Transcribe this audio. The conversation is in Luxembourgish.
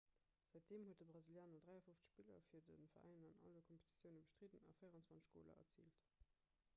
säitdeem huet de brasilianer 53 spiller fir de veräin an alle kompetitioune bestridden a 24 goler erziilt